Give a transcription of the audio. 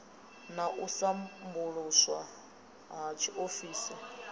na u sambuluswa ha tshiofisi